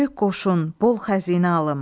Böyük qoşun, bol xəzinə alım.